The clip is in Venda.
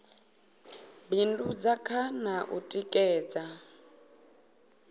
bindudza kha na u tikedza